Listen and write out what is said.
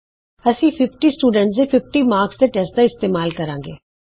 ਪਹਿਲਾਂ ਅਸੀਂ 50 ਵਿਦਿਆਰਥੀਆਂ ਦੇ 50 ਨੰਬਰਾਂ ਦੇ ਟੈਸਟ ਦਾ ਇਸਤੇਮਾਲ ਕਰਾਂਗੇ